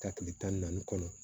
Ka kile tan ni naani kɔnɔ